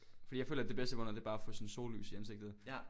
Fordi jeg føler det bedste måde det er bare at få sådan sollys i ansigtet